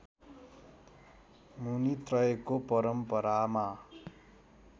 मुनित्रयको परम्परामा